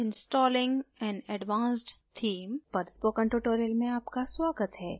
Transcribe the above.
installing an advanced theme पर spoken tutorial में आपका स्वागत है